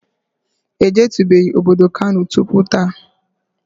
E jetubeghi obodo Kano tupu taa